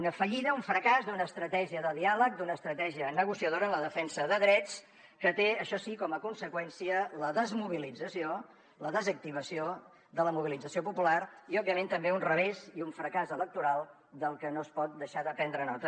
una fallida un fracàs d’una estratègia de diàleg d’una estratègia negociadora en la defensa de drets que té això sí com a conseqüència la desmobilització la desactivació de la mobilització popular i òbviament també un revés i un fracàs electoral del que no es pot deixar de prendre nota